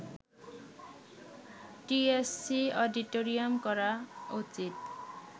TSC, auditorium করা উচিত